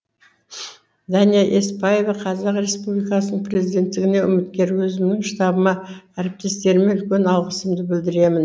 дәния еспаева қазақ республикасының президенттігіне үміткер өзімнің штабыма әріптестеріме үлкен алғысымды білдіремін